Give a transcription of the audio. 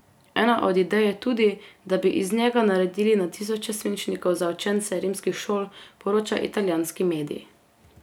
Ena od idej je tudi, da bi iz njega naredili na tisoče svinčnikov za učence rimskih šol, poroča italijanski medij.